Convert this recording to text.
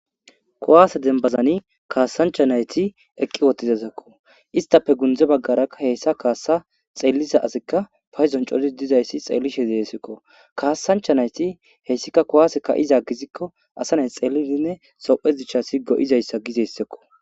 Kowaase denbazani kaassancha nayti eqqi wotizazakko istafe gundze baggarakka hessa kaassa xeelliza asikka fayzon coti dizayssi xeellishe deesekko kaassancha nayti heyssika kowaase ka7iza gizikko asa nay xellidinne sophe gichasi go7izayssa gizeyssakko.